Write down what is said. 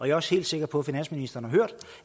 er også helt sikker på at finansministeren har hørt